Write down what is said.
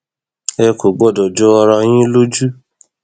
ẹ kò gbọdọ jọ ara yín lójú